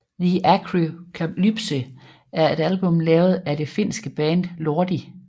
The Arockalypse er et album lavet af det finske band Lordi